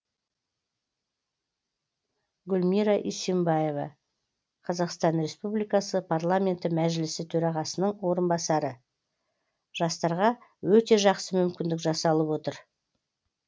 гүлмира исимбаева қазақстан республикасы парламенті мәжілісі төрағасының орынбасары жастарға өте жақсы мүмкіндік жасалып отыр